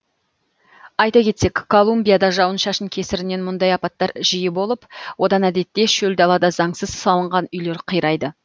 айта кетсек колумбияда жауын шашын кесірінен мұндай апаттар жиі болып одан әдетте шөл далада заңсыз салынған үйлер қирайды